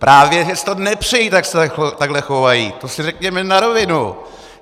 Právě že si to nepřejí, tak se takhle chovají, to si řekněme na rovinu.